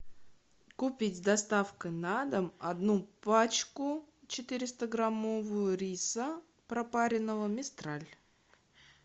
купить с доставкой на дом одну пачку четыреста граммовую риса пропаренного мистраль